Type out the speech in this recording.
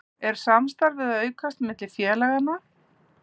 Er samstarfið að aukast á milli félaganna?